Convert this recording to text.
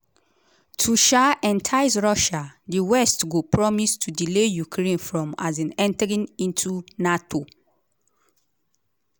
to um entice russia di west go promise to delay ukraine from um entering into nato.